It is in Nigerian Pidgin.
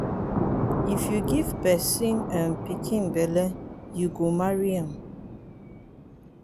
if you give pesin um pikin belle you go marry am.